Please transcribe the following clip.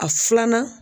A filanan